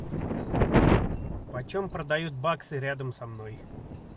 по чем продают баксы рядом со мной